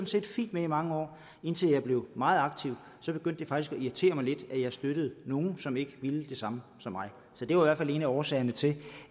set fint med i mange år indtil jeg blev meget aktiv så begyndte det faktisk at irritere mig lidt at jeg støttede nogle som ikke ville det samme som mig så det var i hvert fald en af årsagerne til